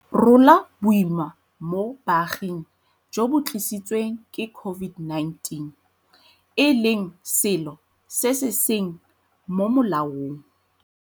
Rola Boima mo Baaging jo bo Tlisi tsweng ke COVID-19, e leng selo se se seng mo molaong.